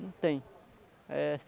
Não tem.